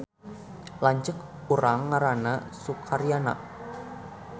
Lanceuk urang ngaranna Sukaryana